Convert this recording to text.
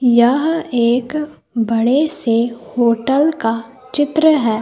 यह एक बड़े से होटल का चित्र है।